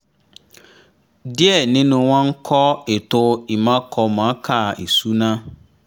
díẹ̀ ninu wọn ń kọ́ ètò ìmọ̀ọ́kọ́mọ̀ọ́kà ìsúná